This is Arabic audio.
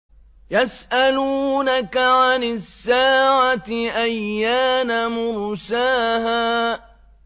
يَسْأَلُونَكَ عَنِ السَّاعَةِ أَيَّانَ مُرْسَاهَا